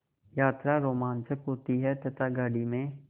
यात्रा रोमांचक होती है तथा गाड़ी में